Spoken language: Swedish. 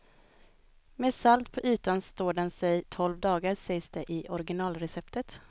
Med salt på ytan står den sig tolv dagar sägs det i originalreceptet.